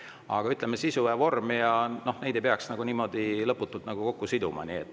Aga, ütleme, sisu ja vormi ei peaks niimoodi lõputult kokku siduma.